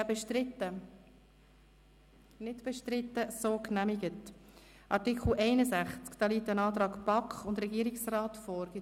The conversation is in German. Zu Artikel 61 liegt ein Antrag von BaK und Regierungsrat vor.